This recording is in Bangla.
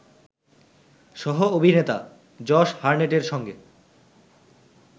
সহ-অভিনেতা জশ হারনেটের সঙ্গে